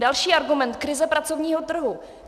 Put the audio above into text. Další argument - krize pracovního trhu.